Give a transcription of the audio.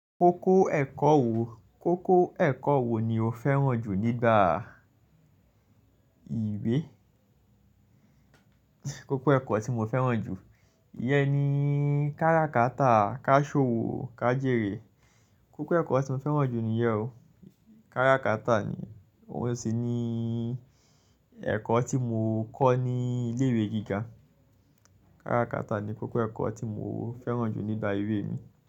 Kókó ẹ̀kọ́ wo, kókó ẹ̀kọ́ wo ni o fẹ́ràn jù nígbà ìwé? Kókó ẹ̀kọ́ tí mo fẹ́ràn jù, ìyẹn ni kárakátà, káṣòwọ̀, kájérè. Kókó ẹ̀kọ́ tí mo fẹ́ràn jù nìyẹn o. Kárakátà ni, óun sì ni ẹ̀kọ́ tí mo kọ́ ní ilé ìwé gíga. Kárakátà ni kókó ẹ̀kọ́ tí mo fẹ́ràn jù nígbà ìwé mi.